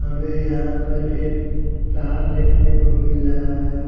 हमे यहा पर एक तार देखने को मिल रहा है।